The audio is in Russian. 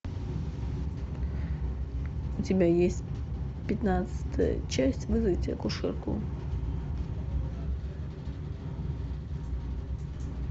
у тебя есть пятнадцатая часть вызовите акушерку